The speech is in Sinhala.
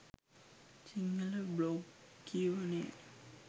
සිංහල බ්ලොග් කියවනය